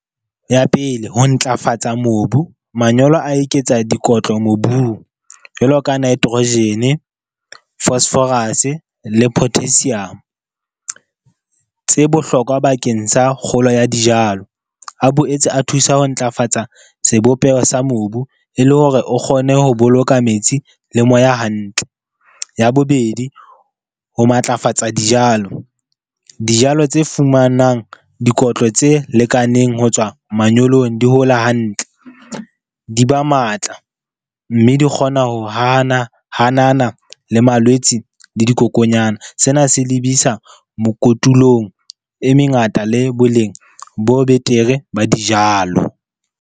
Ya pele ho ntlafatsa mobu, manyolo a eketsa dikotlo mobung jwalo ka nitrogen-e, phosphorus-e le potassium tse bohlokwa bakeng sa kgolo ya dijalo. A boetse a thusa ho ntlafatsa sebopeho sa mobu e le hore o kgone ho boloka metsi le moya hantle. Ya bobedi, ho matlafatsa dijalo. Dijalo tse fumanang dikotlo tse lekaneng ho tswa manyolong, di hola hantle, di ba matla. Mme di kgona ho hana hanana le malwetse le dikokonyana. Sena se lebisa mokotulong e mengata le boleng bo betere ba dijalo.